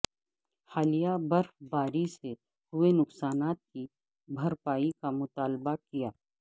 حالیہ برف باری سے ہوئے نقصانات کی بھرپائی کا مطالبہ کیا